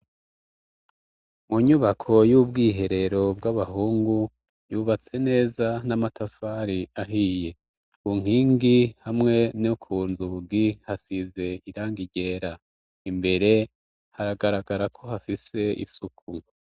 Munyubako y'ubwiherero bw'abahungu yubatse neza n'amatafari ahiye unkingi hamwe no ku nzugi hasize iranga iryera imbere haragaragara ko hafise isuku.